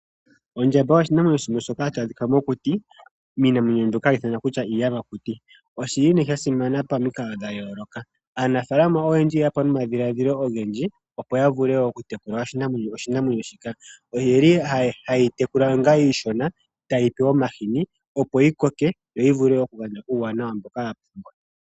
Ondjamba oyo oshinamwenyo shimwe shoka hashi adhika mokuti miinamwenyo mbyoka hayi ithanwa iiyamakuti. Oshili nee sha simana pamikalo dha yooloka. Aanafaalama oyendji oye ya po nomadhiladhilo ogendji, opo ya vule oku tekula oshinamwenyo shika, oyeli haye yi tekula onga iishona, taye yi pe omahini, opo yi koke, yo yi vule oku gandja uuwanawa mboka ya pumbwa.